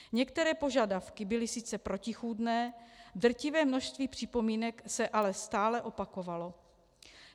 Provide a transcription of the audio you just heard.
Některé požadavky byly sice protichůdné, drtivé množství připomínek se ale stále opakovalo.